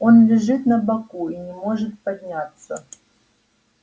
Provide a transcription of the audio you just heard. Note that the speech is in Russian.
он лежит на боку и не может подняться